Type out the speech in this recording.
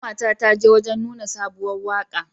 Ƙanwa ta ta je wajan nuna sabuwar waka.